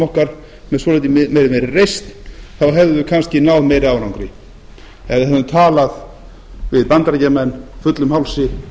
okkar með svolítið meiri reisn þá hefðum við kannski náð meiri árangri ef við hefðum talað við bandaríkjamenn fullum hálsi